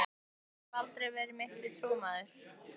Ég hef aldrei verið mikill trúmaður.